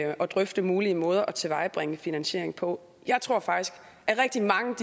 drøfte mulige måder at tilvejebringe finansiering på jeg tror faktisk at rigtig mange